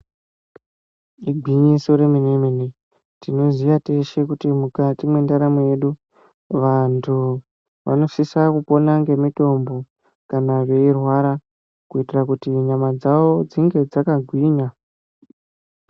Igwinyiso remenemene tinoziya teshe kuti mukati mwendaramu yedu vantu vonosisa kupona ngemitombo kana veirwa kuitira kuti nyama dzavo dzinge dzakagwinya .